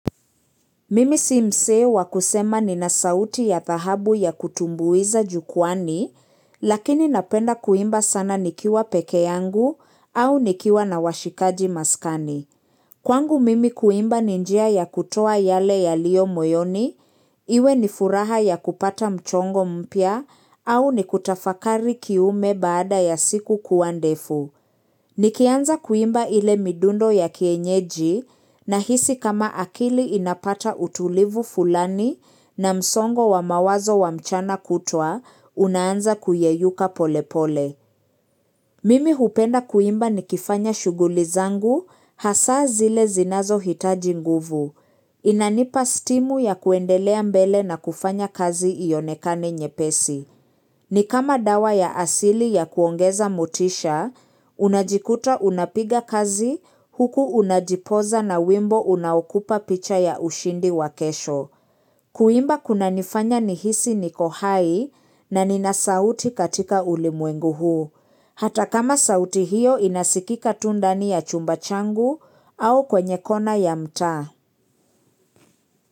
Mimi simsee wa kusema nina sauti ya thahabu ya kutumbuiza jukuani, lakini napenda kuimba sana nikiwa peke yangu au nikiwa na washikaji maskani. Kwangu mimi kuimba ninjia ya kutoa yale yaliyo moyoni, iwe ni furaha ya kupata mchongo mpya au ni kutafakari kiume baada ya siku kua ndefu. Nikianza kuimba ile midundo ya kienyeji na hisi kama akili inapata utulivu fulani na msongo wa mawazo wa mchana kutwa, unaanza kuyeyuka pole pole. Mimi hupenda kuimba nikifanya shughuli zangu, hasa zile zinazo hitaji nguvu. Inanipa stimu ya kuendelea mbele na kufanya kazi ionekani nyepesi. Ni kama dawa ya asili ya kuongeza motisha, unajikuta unapiga kazi huku unajipoza na wimbo unaukupa picha ya ushindi wakesho. Kuimba kuna nifanya nihisi niko hai na nina sauti katika ulimwengu huu. Hata kama sauti hiyo inasikika tu ndani ya chumba changu au kwenye kona ya mtaa.